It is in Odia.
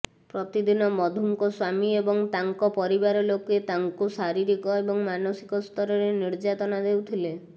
ପ୍ରତିଦିନ ମଧୁଙ୍କ ସ୍ୱାମୀ ଏବଂ ତାଙ୍କ ପରିବାର ଲୋକେ ତାଙ୍କୁ ଶାରୀରିକ ଏବଂ ମାନସିକ ସ୍ତରରେ ନିର୍ଯାତନା ଦେଉଥିଲେ